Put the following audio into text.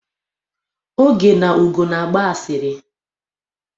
Oge na Ugo na-agba asịrị.